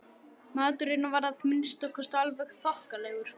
Maturinn var að minnsta kosti alveg þokkalegur.